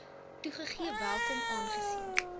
toegegee welkom aangesien